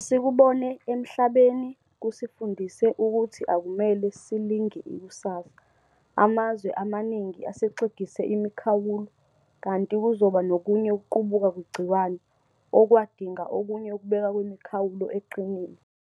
Esikubone emhlabeni kusifundise ukuthi akumele silinge ikusasa. Amazwe amaningi asexegise imikhawulo, kanti kuzoba nokunye ukuqubuka kwegciwane, okwadinga okunye ukubekwa kwemikhawulo eqinile.